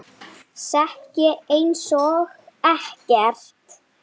Sekk ég einsog ekkert.